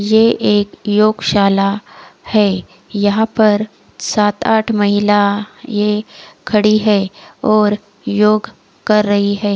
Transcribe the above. ये एक योगशाला है यहां पर सात आठ महिला ये खड़ी है और योग कर रही है।